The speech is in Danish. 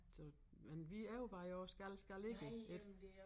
Så men vi overvejer også skal skal ikke ik